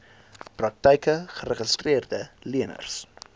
praktyke geregistreede leners